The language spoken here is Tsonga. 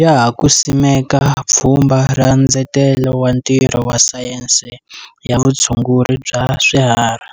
Ya ha ku simeka Pfhumba ra Ndzetelo wa Ntirho wa Sayense ya Vutshunguri bya Swiharhi,